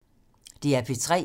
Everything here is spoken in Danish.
DR P3